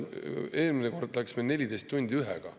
Eelmine kord läks meil 14 tundi ühega.